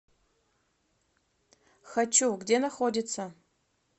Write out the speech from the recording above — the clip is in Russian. хочу где находится